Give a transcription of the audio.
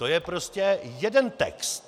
To je prostě jeden text.